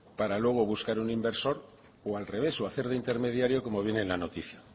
para luego buscar un inversor o al revés hacer de intermediario como viene en la noticia